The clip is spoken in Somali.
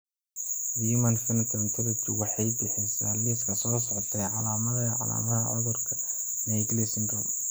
The Human Phenotype Ontology wuxuu bixiyaa liiska soo socda ee calaamadaha iyo calaamadaha cudurka Naegeli syndrome.